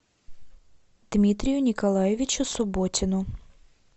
дмитрию николаевичу субботину